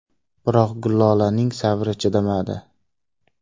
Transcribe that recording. Biroq Gullolaning sabri chidamadi.